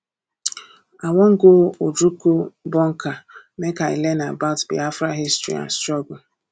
i wan go ojukwu bunker make i learn about biafra history and struggle